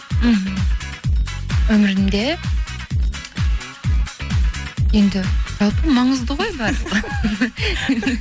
мхм өмірімде енді жалпы маңызды ғой бәрі